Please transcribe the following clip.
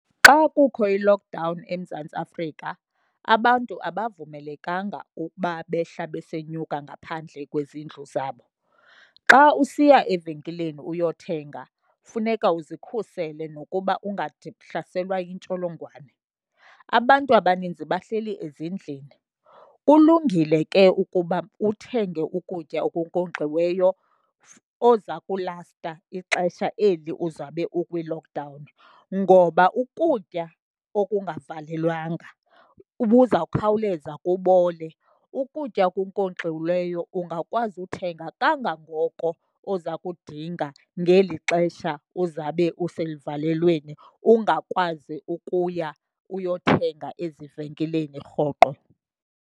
Xa kukho i-lockdown eMzantsi Afrika abantu abavumelekanga ukuba behla besenyuka ngaphandle kwezindlu zabo. Xa usiya evenkileni uyothenga funeka uzikhusele nokuba yintsholongwane. Abantu abaninzi bahleli ezindlini, kulungile ke ukuba uthenge ukutya okunkonkxiweyo oza kulasta ixesha eli uzabe ukwi-lockdown, ngoba ukutya okungavalelwanga buzawukhawuleza kubole. Ukutya okunkonkxiweyo ungakwazi uthenga kangangoko oza kudinga ngeli xesha uzabe useluvalelweni ungakwazi ukuya uyothenga ezivenkileni rhoqo.